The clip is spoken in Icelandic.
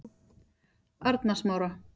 Arnarsmára